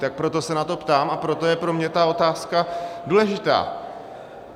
Tak proto se na to ptám a proto je pro mě ta otázka důležitá.